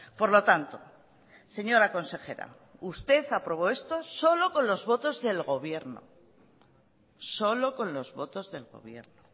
por lo tanto señora consejera usted aprobó esto solo con los votos del gobierno solo con los votos del gobierno